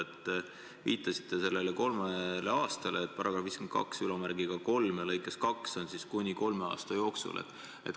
Te viitasite kolmele aastale: et § 523 lõikes 2 on kirjas, et ettekirjutuse võib teha "kuni kolme aasta jooksul".